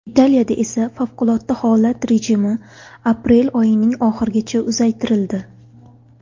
Italiyada esa favqulodda holat rejimi aprel oyining oxirigacha uzaytirildi .